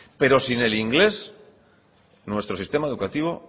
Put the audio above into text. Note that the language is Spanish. pero sin el inglés nuestro sistema educativo